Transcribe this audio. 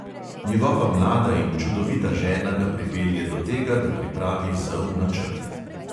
Njegova mlada in čudovita žena ga pripelje do tega, da pripravi zel načrt.